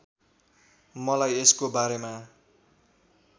मलाई यसको बारेमा